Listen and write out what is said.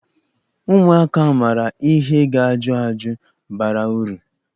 Ụmụaka maara ihe ga-ajụ ajụjụ bara uru.